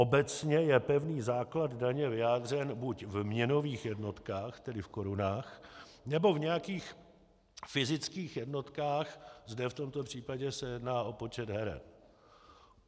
Obecně je pevný základ daně vyjádřen buď v měnových jednotkách, tedy v korunách, nebo v nějakých fyzických jednotkách, zde v tomto případě se jedná o počet heren.